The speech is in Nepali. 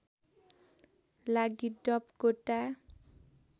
लागि डप कोटा